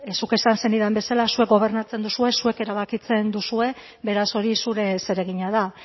zuk esan zenidan bezala zuek gobernatzen duzue zuek erabakitzen duzue beraz hori zure zeregina da